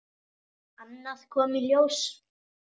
Annað kom í ljós.